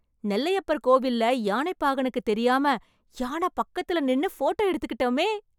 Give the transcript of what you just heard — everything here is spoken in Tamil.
நெல்லையப்பர் கோவில்ல யானைப் பாகனுக்கு தெரியாம, யானை பக்கத்துல நின்னு ஃபோட்டோ எடுத்துகிட்டோமே...